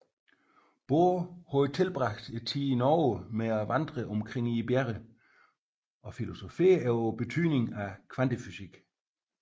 Bohr havde tilbragt tiden i Norge med at vandre omkring i bjergene og filosoferede over betydningen af kvantefysikken